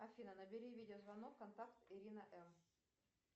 афина набери видеозвонок контакт ирина м